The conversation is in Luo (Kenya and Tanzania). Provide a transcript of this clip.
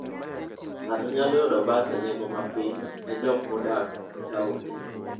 Ng'ato nyalo yudo bas e nengo ma piny ne joma odak e taonde.